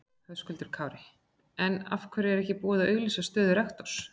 Höskuldur Kári: En af hverju er ekki búið að auglýsa stöðu rektors?